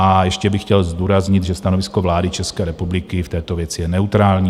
A ještě bych chtěl zdůraznit, že stanovisko vlády České republiky v této věci je neutrální.